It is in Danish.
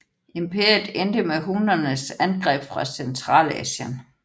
Imperiet endte med hunnernes angreb fra Centralasien